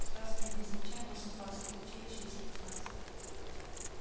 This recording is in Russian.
сразу видно за плечами восемь классов училище и спецназ